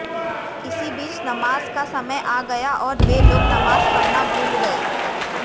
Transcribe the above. इसी बीच नमाज़ का समय आ गया और वे लोग नमाज़ पढ़ना भूल गए